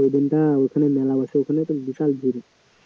ওই দিনটা ওখানে মেলা বসেছিল তো বিশাল ভিড়